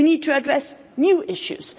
We need to address new issues.